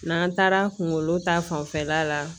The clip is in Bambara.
N'an taara kungolo ta fanfɛla la